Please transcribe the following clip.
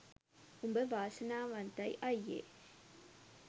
උඹ වාසනාවන්තයි අයියෙ